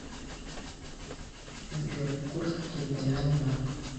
сбер курск территориальный банк